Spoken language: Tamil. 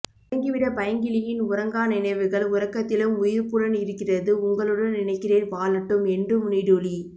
உறங்கிவிட பைங்கிளியின் உறங்கா நினைவுகள் உறக்கத்திலும் உயிர்ப்புடன் இருக்கிறது உங்களுடன் நினைக்கிறேன் வாழட்டும் என்றும் நீடுழி